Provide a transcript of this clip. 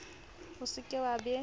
o se ke wa be